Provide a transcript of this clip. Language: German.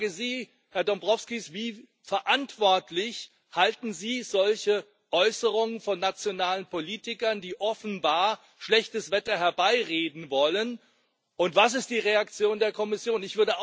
Ich frage Sie, Herr Dombrovskis, für wie verantwortlich halten Sie solche Äußerungen von nationalen Politikern, die offenbar schlechtes Wetter herbeireden wollen, und was ist die Reaktion der Kommission?